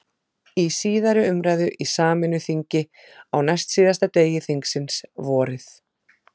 Í síðari umræðu í sameinu þingi, á næstsíðasta degi þingsins, vorið